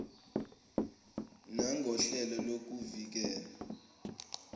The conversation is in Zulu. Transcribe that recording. nangohlelo lokuvi kela